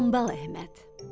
Hambal Əhməd.